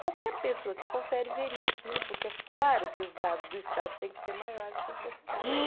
Qualquer pessoa que confere veria aquilo, porque é claro que os dados do estado têm que ser maiores que os da cidade.